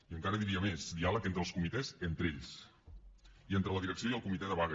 i encara diria més diàleg entre els comitès entre ells i entre la direcció i el comitè de vaga